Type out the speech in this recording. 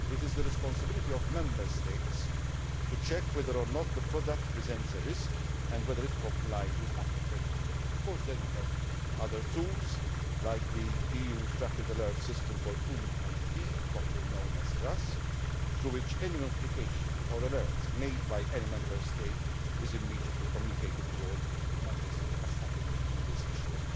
It is the responsibility of Member States to check whether or not the product presents a risk and whether it complies with applicable legislation. We then have other tools, like the EU's Rapid Alert System for Food and Feed, popularly known as RASFF, through which any notification or alert made by any Member State is immediately communicated to all Member States as has happened with this issue.